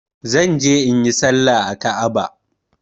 Zan je inyi salla a Ka'aba.